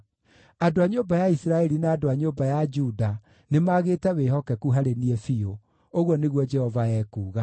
Andũ a nyũmba ya Isiraeli na andũ a nyũmba ya Juda nĩmagĩte wĩhokeku harĩ niĩ biũ,” ũguo nĩguo Jehova ekuuga.